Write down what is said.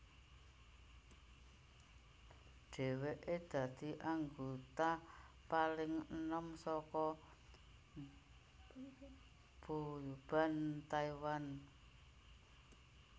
Dhèwèké dadi anggota paling enom saka boyband Taiwan